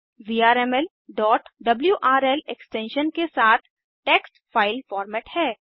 VRML wrl extension के साथ text file format है